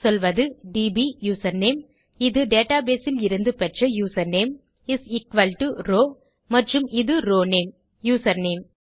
சொல்வது DB username இது database இலிருந்து பெற்ற username is equal to row மற்றும் இது ரோவ் நேம் யூசர்நேம்